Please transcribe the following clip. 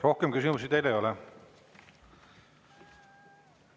Rohkem küsimusi teile ei ole.